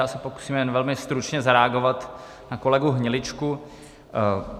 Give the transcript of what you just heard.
Já se pokusím jen velmi stručně zareagovat na kolegu Hniličku.